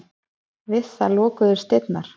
Við það lokuðust dyrnar.